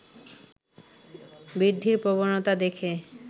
বৃদ্ধির প্রবণতা দেখে